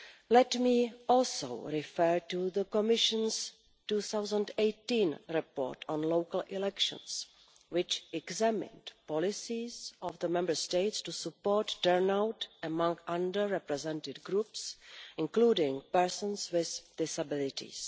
Let me also refer to the Commission's 2018 report on local elections, which examined the policies of the Member States to support turnout among under-represented groups, including persons with disabilities.